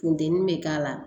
Funteni bɛ k'a la